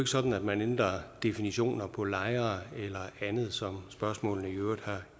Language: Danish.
sådan at man ændrer definitioner på lejre eller andet som spørgsmålene jo i øvrigt har